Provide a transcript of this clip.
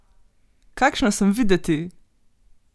Kakšna sem videti!